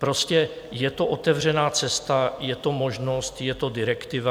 Prostě je to otevřená cesta, je to možnost, je to direktiva.